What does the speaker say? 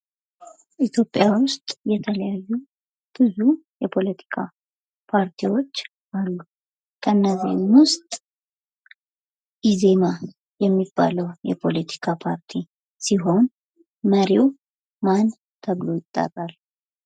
ኢትዮጵያ ውስጥ ብዙ የተለያዩ የፖለቲካ ፓርቲዎች አሉ። ከነዚህም ውስጥ ኢዜማ የሚባለው የፖለቲካ ፓርቲ ሲሆን መሪው ማን ተብሎ ይጠራል።